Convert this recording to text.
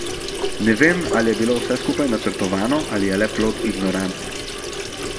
Ne vem, ali je bilo vse skupaj načrtovano ali je le plod ignorance.